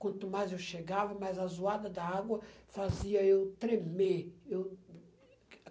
Quanto mais eu chegava, mais a zoada da água fazia eu tremer. Eu